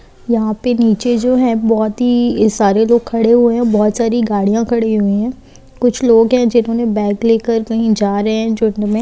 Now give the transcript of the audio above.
यहां पर नीचे जो है बहोत ही सारे लोग खड़े हुए हैं बहोत सारी गाड़ियां खड़ी हुई है कुछ लोग है जिन्होंने बैग लेकर कहीं जा रहे हैं